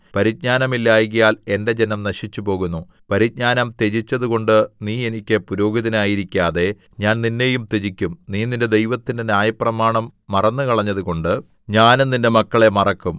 പരിജ്ഞാനമില്ലായ്കയാൽ എന്റെ ജനം നശിച്ചുപോകുന്നു പരിജ്ഞാനം ത്യജിച്ചതുകൊണ്ട് നീ എനിക്ക് പുരോഹിതനായിരിക്കാതെ ഞാൻ നിന്നെയും ത്യജിക്കും നീ നിന്റെ ദൈവത്തിന്റെ ന്യായപ്രമാണം മറന്നുകളഞ്ഞതുകൊണ്ട് ഞാനും നിന്റെ മക്കളെ മറക്കും